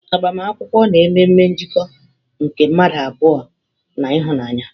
Agbamakwụkwọ na-eme ememe njikọ nke mmadụ abụọ na ịhụnanya.